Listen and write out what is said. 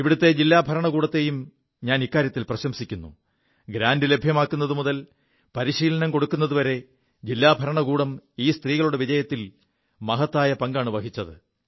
ഇവിടത്തെ ജില്ലാ ഭാരണകൂടത്തെയും പ്രശംസിക്കുു ഗ്രാന്റ് ലഭ്യമാക്കുതു മുതൽ പരീശിലനം കൊടുക്കുതുവരെ ജില്ലാ ഭരണകൂടം ഈ സ്ത്രീകളുടെ വിജയത്തിൽ മഹത്തായ പങ്കാണു വഹിച്ചത്